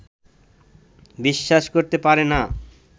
বিশ্বাস করতে পারে না